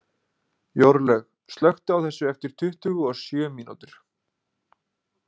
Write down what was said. Jórlaug, slökktu á þessu eftir tuttugu og sjö mínútur.